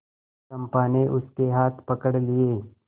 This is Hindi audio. चंपा ने उसके हाथ पकड़ लिए